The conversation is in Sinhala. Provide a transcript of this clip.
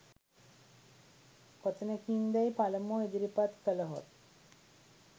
කොතැනකින්දැයි පළමුව ඉදිරිපත් කළහොත්